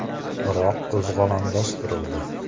Biroq qo‘zg‘olon bostirildi.